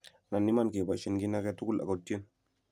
anan Iman keboishen kiiy age tugul ago tyen